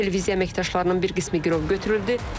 Televiziya əməkdaşlarının bir qismi girov götürüldü.